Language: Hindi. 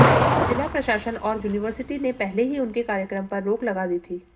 जिला प्रशासन और यूनिवर्सिटी ने पहले ही उनके कार्यक्रम पर रोक लगा दी थी